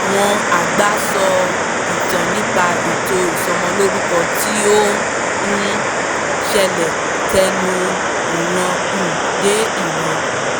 àwọn àgbà sọ ìtàn nípa ètò ìsọmọlórúkọ tí ó um ń ṣe tẹnu ìran um dé ìran